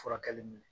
Furakɛli minɛ